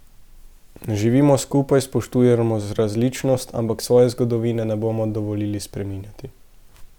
Živimo skupaj, spoštujemo različnost, ampak svoje zgodovine ne bomo dovolili spreminjati.